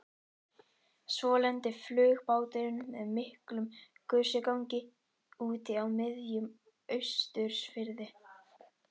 Svo lenti flugbáturinn með miklum gusugangi úti á miðjum Austurfirði.